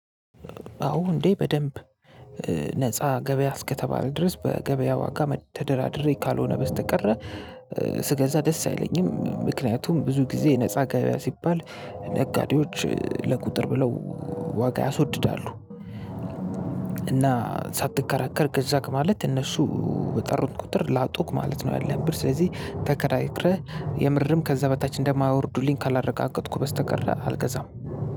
አዎ እንዴ በደንብ ነፃ ገበያ እስከተባለ ድረስ በገበያ ዋጋ ተደራድሬ ካልሆነ በስተቀረ ስገዛ ደስ አይለኝም ምክንያቱም ብዙ ጊዜ ነፃ ገበያ ሲባል ነጋዴዎች ለቁጥር ብለው ዋጋ ያስወድዳሉ እና ሳትከራከር ገዛክ ማለት እነሱ በጠሩን ቁጥር ላጡክ ማለት ነው። ያለህን ብር ስለዚህ ተከራክረህ የምርም ከዛ በታች እንደማያወርዱልኝ ካላረጋገጥኩ በስተቀር አልገዛም።